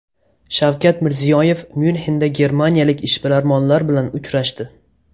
Shavkat Mirziyoyev Myunxenda germaniyalik ishbilarmonlar bilan uchrashdi.